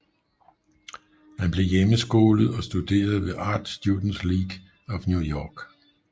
Han blev hjemmeskolet og studerede ved Art Students League of New York